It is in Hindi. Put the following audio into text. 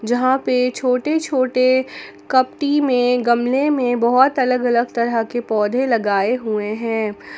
यहां पे छोटे छोटे कपट्टी में गमले में बहुत अलग अलग तरह के पौधे लगाए हुए हैं।